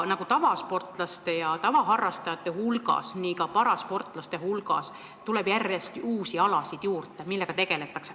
Nagu tavasportlaste ja tavaharrastajate hulgas tuleb ka parasportlaste hulgas järjest juurde uusi alasid, millega tegeletakse.